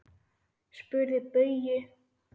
Spyrðu Bauju!